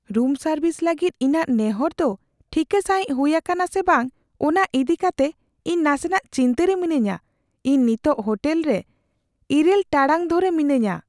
ᱨᱩᱢ service ᱞᱟᱹᱜᱤᱫ ᱤᱧᱟᱹᱜ ᱱᱮᱦᱚᱨ ᱫᱚ ᱴᱷᱤᱠᱟᱹ ᱥᱟᱹᱦᱤᱡ ᱦᱩᱭ ᱟᱠᱟᱱᱟᱥᱮ ᱵᱟᱝ ᱚᱱᱟ ᱤᱫᱤ ᱠᱟᱛᱮ ᱤᱧ ᱱᱟᱥᱮᱱᱟᱜ ᱪᱤᱱᱛᱟᱹ ᱨᱮ ᱢᱤᱱᱟᱹᱧᱟ ᱾ ᱤᱧ ᱱᱤᱛᱚᱜ ᱦᱳᱴᱮᱞ ᱨᱮ ᱘ ᱴᱟᱲᱟᱜ ᱫᱷᱚᱨᱮ ᱢᱤᱱᱟᱹᱧᱟ ᱾